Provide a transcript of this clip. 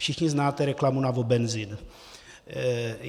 Všichni znáte reklamu na Wobenzym.